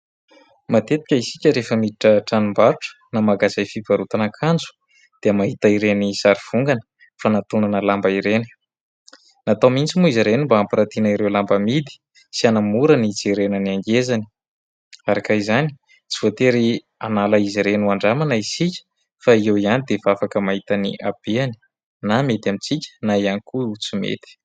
Matetika isika rehefa miditra tranom-barotra na magazay fivarotana akanjo dia mahita ireny sary vongana fanantonana lamba ireny. Natao mihitsy moa izy ireny mba hampirantiana ireo lamba amidy sy hanamora ny hijerena ny angezany. Araka izany, tsy voatery hanala izy ireny ho andramana isika, fa eo ihany dia efa afaka mahita ny ahabeany, na mety amintsika na ihany koa tsy mety.